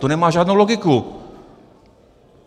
To nemá žádnou logiku!